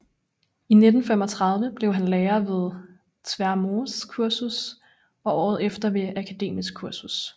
I 1935 blev han lærer ved Tvermoes Kursus og året efter ved Akademisk Kursus